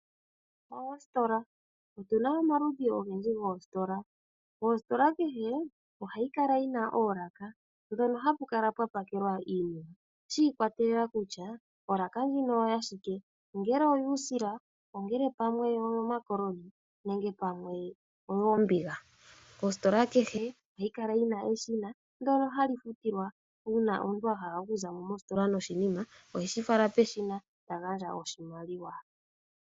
Oositola Otuna omaludhi ogendji goositola. Oositola kehe ohayi kala yina oolaka ndhono hapu kala pwa pakelwa iinima shi ikwatelela kutya olaka ndjino oya shike ongele oyuusila, ongele pamwe oyomakoloni nenge pamwe oyoombiga. Ositola kehe ohayi kala yina eshina ndono hali futilwa, uuna omuntu a hala okuza mo mositola noshinima oheshi fala peshina ta gandja oshimaliwa.